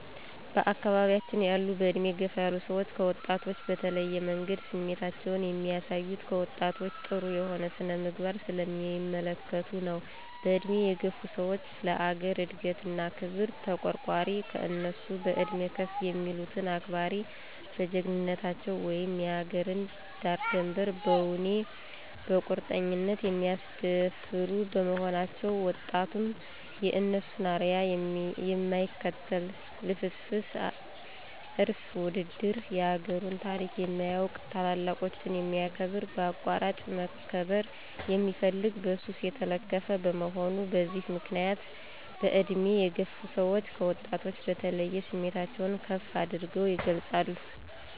በአካባቢያችን ያሉ በእድሜ የገፋ ሰዎች ከወጣቶች በተለየ መንገድ ስሜታቸውን የሚያሳዩት፣ ከወጣቶች ጥሩ የሆነ ስነ-ምግባር ስለማይመለከቱ ነው። በእድሜ የገፋ ሰዎች ለአገር እድገት እና ክብር ተቋርቋሪ፣ ከእነሱ በእድሜ ከፍ የሚሉትን አክባሪ፣ በጀግንነታቸ ውም የአገርን ዳርድንበር በወኔ በቁርጠኝነት የማያስደፍሩ በመሆናቸው፤ ወጣቱም የእነሱን አርያ የማይከተል ልፍስፍስ፣ እራስ ወዳድ፣ የአገሩን ታሪክ የማያውቅ፣ ታላላቆችን የማያከብር፣ በአቋራጭ መክበር የሚፈልግ፣ በሱስ የተለከፈ፣ በመሆኑ በዚህ ምክንያት በእድሜ የገፋ ሰወች ከወጣቱ በተለየ ስሜታቸውን ከፍ አድርገው ይገልፃሉ።